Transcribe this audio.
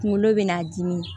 Kunkolo bɛna dimi